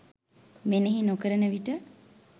මෙනෙහි නොකරන විට